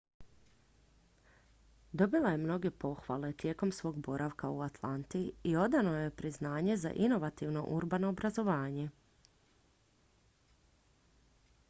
dobila je mnoge pohvale tijekom svog boravka u atlanti i odano joj je priznanje za inovativno urbano obrazovanje